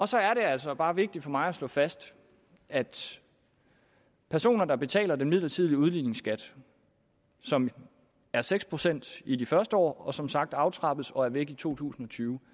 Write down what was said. så er det altså bare vigtigt for mig at slå fast at personer der betaler en midlertidig udligningsskat som er seks procent i de første år og som sagt aftrappes og er væk i to tusind og tyve